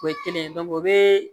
O ye kelen o be